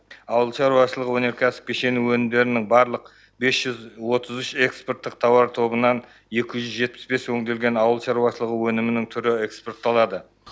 ауыл шаруашылық өнеркәсіп кешені өнімдерінің барлық бес жүз отыз үш экспорттық тауар тобынан екі жүз жетпіс бес өңделген ауыл шаруышылығы өнімнің түрі экспортталады